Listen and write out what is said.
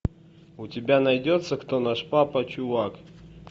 у тебя найдется кто наш папа чувак